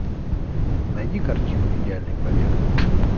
найди картину идеальный побег